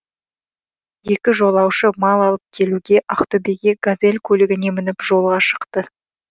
екі жолаушы мал алып келуге ақтөбеге газель көлігіне мініп жолға шықты